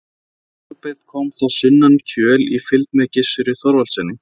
En Kolbeinn kom þá sunnan Kjöl í fylgd með Gissuri Þorvaldssyni.